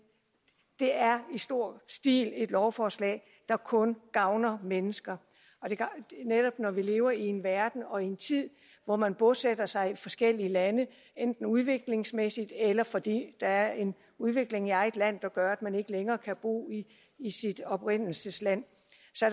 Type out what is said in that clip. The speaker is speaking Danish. det er i stor stil et lovforslag der kun gavner mennesker netop når vi lever i en verden og i en tid hvor man bosætter sig i forskellige lande enten af udviklingsmæssig årsager eller fordi der er en udvikling i eget land der gør at man ikke længere kan bo i sit oprindelsesland